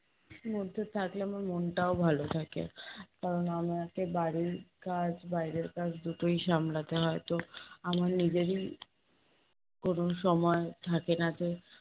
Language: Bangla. মধ্যে থাকলে আমার মনটাও ভালো থাকে। কারণ আমাকে বাড়ির কাজ বাইরের কাজ দুটোই সামলাতে হয়, তো আমার নিজেরই কোনো সময় থাকে না যে